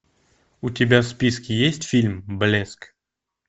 у тебя в списке есть фильм блеск